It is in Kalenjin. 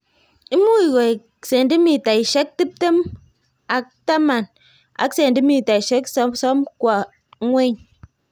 Much koek cendimitaishek tiptem kwa tapan ak cendimitaishek sosom kwo ng'weny